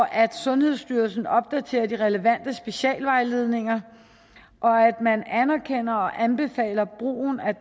at sundhedsstyrelsen opdaterer de relevante specialvejledninger at man anerkender og anbefaler brugen af